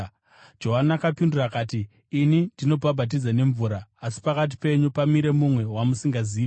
Johani akapindura akati, “Ini ndinobhabhatidza nemvura, asi pakati penyu pamire mumwe wamusingazivi.